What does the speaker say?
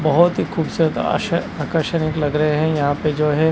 बहुत ही खूबसूरत आकर्षणिक लग रहे हैं यहाँ पे है।